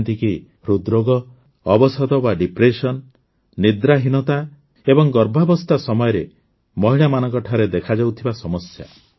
ଯେମିତିକି ହୃଦ୍ରୋଗ ଅବସାଦ ବା ଡିପ୍ରେସନ୍ ନିଦ୍ରାହୀନତା ଏବଂ ଗର୍ଭାବସ୍ଥା ସମୟରେ ମହିଳାମାନଙ୍କଠାରେ ଦେଖାଯାଉଥିବା ସମସ୍ୟା